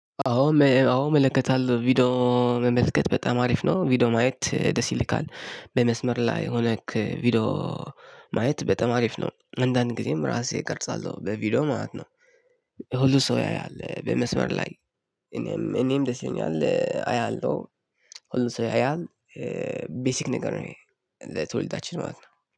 አዎ አዎ እመለከታለሁ ቪዲዮ መመልከት በጣም አሪፍ ነው ቪዲዮ ማየት ደስ ይልካል በመስመር ላይ ሆነክ ቪዲዮ ማየት በጣም አሪፍ ነው። አዳድ ጊዜም እራሰረ እቀርጻለሁ በቪዲዬ ማለት ነው። ሁሉ ሰው ያያል በመስመር ላይ። እኔም ደስ ይለኛል አያለሁ። ሁሉ ሰው ያያል ቤዚክ ነገር ነው። የትወልዳችን ማለት ነው